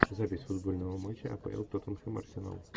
запись футбольного матча апл тоттенхэм арсенал